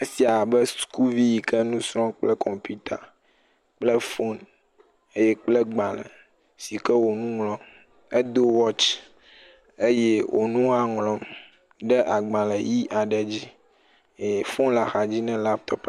Esie be sukuvi yi ke le nu srɔ̃m kple kɔmpita kple fon eye kple gbalẽ si ke wonu ŋlɔm, edo watsi, eye wonu ha ŋlɔm ɖe agbalẽ ʋi aɖe dzi eye fon le axa dzi nɛ.